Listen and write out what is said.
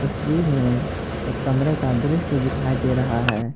तस्वीर में एक कमरे का दृश्य दिखाई दे रहा है।